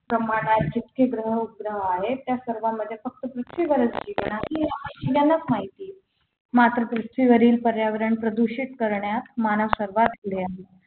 ब्रह्मांडास जितके ग्रह उपग्रह आहेत त्यासर्व मध्ये फक्त पृथ्वीवर जीवन आहे हे सर्वांनाच माहिती आहे मात्र पृथ्वीवरील पर्यावरण प्रदूषित करण्यात मानव सर्वात पुढे आहे